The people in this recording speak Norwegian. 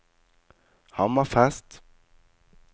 Hammerfest